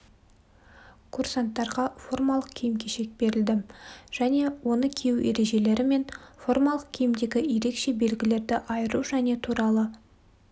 курсанттарға формалық киім-кешек берілді және оны кию ережелері мен формалық киімдегі ерекше белгілерді айыру және туралы